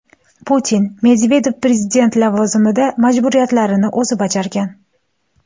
Putin: Medvedev prezident lavozimida majburiyatlarini o‘zi bajargan.